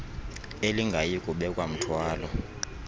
elingayi kubeka mthwalo